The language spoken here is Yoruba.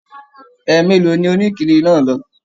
Ẹ mélòó ni onikiri náà lọ?